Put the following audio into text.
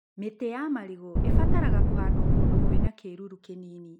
Mĩtĩ ya marigũ ĩbataraga kũhandwo kũndũ kwina kĩruru kĩnini.